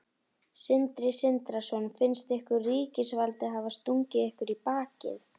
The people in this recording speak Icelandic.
Sindri Sindrason: Finnst ykkur ríkisvaldið hafa stungið ykkur í bakið?